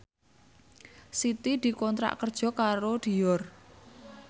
Siti dikontrak kerja karo Dior